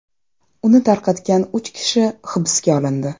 Uni tarqatgan uch kishi hibsga olindi.